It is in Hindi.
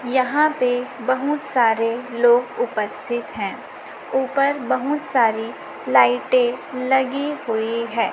यहां पे बहुत सारे लोग उपस्थित है ऊपर बहुत सारी लाइटे लगी हुई है।